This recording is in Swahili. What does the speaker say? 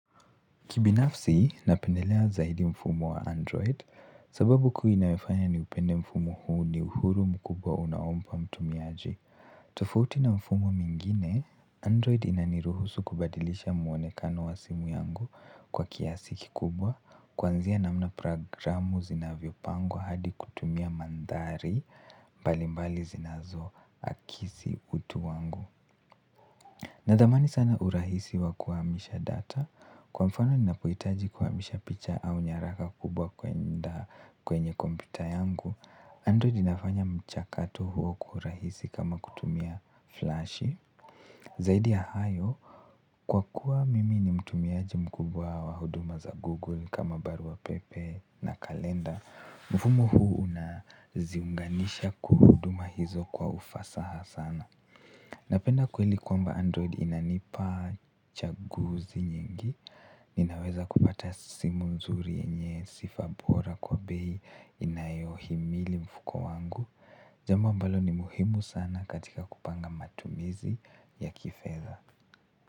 Kibinafsi, napendelea zaidi mfumo wa Android, sababu kuu inayofanya ni upende mfumo huu ni uhuru mkubwa unaompa mtumiaji. Tofauti na mfumo mingine, Android inaniruhusu kubadilisha mwonekano wa simu yangu kwa kiasi kikubwa, kuanzia namna programu zinavyopangwa hadi kutumia mandhari, mbalimbali zinazo akisi utu wangu. Na dhamani sana urahisi wa kuhamisha data, kwa mfano ninapohitaji kuhamisha picha au nyaraka kubwa kwenye kompyuta yangu. Android inafanya mchakato huo kwa urahisi kama kutumia flash zaidi ya hayo, kwa kuwa mimi ni mtumiaji mkubwa wa huduma za Google kama barua pepe na kalenda mfumo huu unaziunganisha kuhuduma hizo kwa ufasaha sana napenda kweli kwamba Android inanipachaguzi nyingi. Ninaweza kupata simu nzuri yenye sifa bora kwa bei inayohimili mfuko wangu. Jambo ambalo ni muhimu sana katika kupanga matumizi ya kifedha.